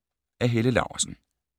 Af Helle Laursen